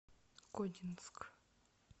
кодинск